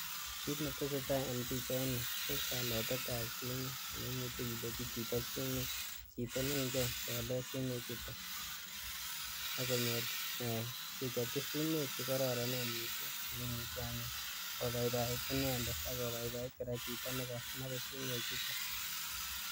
Kineteseetai en pichaini kokaletetab sumek chito neingen kolet sumechuton , akonyor kechopchi sumek chekororonen kobaibait inendet ak kobaibait koraa chito nekonobe sumechuton.